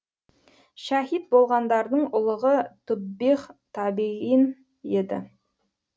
шәһид болғандардың ұлығы туббиғ табиғин еді